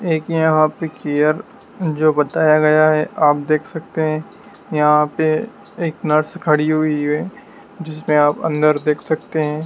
एक यहा पे चेयर जो बताया गया है आप देख सकते हैं यहां पे एक नर्स खड़ी हुई है जिसमे आप अंदर देख सकते हैं।